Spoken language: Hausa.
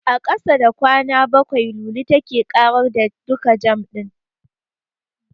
A ƙasa da kwana bakwai, Lulu take ƙarar da duka jam ɗin.